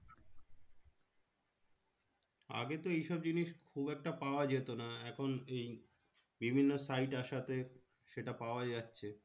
আগে তো এইসব জিনিস খুব একটা পাওয়া যেত না। এখন এই বিভিন্ন site আসাতে সেটা পাওয়া যাচ্ছে।